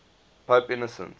pope innocent